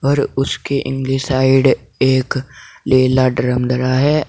और उसके अंदर साइड एक नीला ड्रम धरा है।